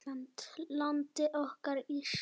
Landið okkar, Ísland.